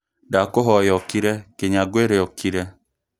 ndakũhoya ũkire nginya ngwire ũkire